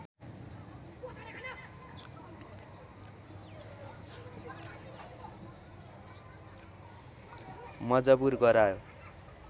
मजबुर गरायो